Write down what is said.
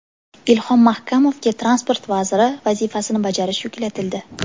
Ilhom Mahkamovga transport vaziri vazifasini bajarish yuklatildi.